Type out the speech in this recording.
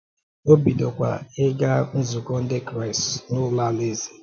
O bidokwa ịga nzukọ Ndị Kraịst n’Ụlọ Alaeze.